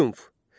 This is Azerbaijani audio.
Triumf.